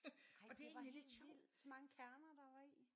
Nej det var helt vildt så mange kerner der var i